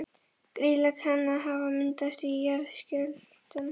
Grýla kann að hafa myndast í jarðskjálftum